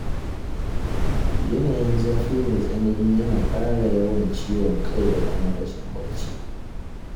Yanayin zafi mai tsanani yana ƙara yawan ciwon kai da kuma rashin barci.